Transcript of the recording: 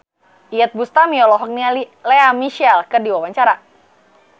Iyeth Bustami olohok ningali Lea Michele keur diwawancara